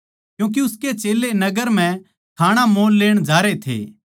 क्यूँके उसके चेल्लें नगर म्ह खाणा मोल लेण जारे थे